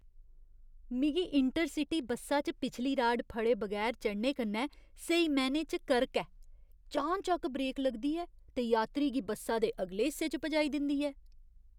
मिगी intercity बस्सा च पिछली राड फड़े बगैर चढ़ने कन्नै स्हेई मैह्‌नें च करक ऐ। चानचक्क ब्रेक लगदी ऐ ते यात्री गी बस्सा दे अगले हिस्से च पजाई दिंदी ऐ।